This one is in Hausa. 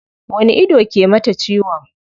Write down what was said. Wani ido ke mata ciwon?